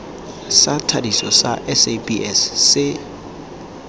sa thadiso sa sabs se